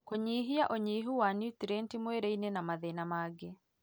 kũnyihia ũnyihu wa niutirienti mwĩrĩ-inĩ na mathĩna mangĩ.